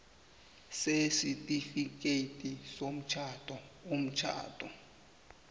sesitifikhethi somtjhado umtjhado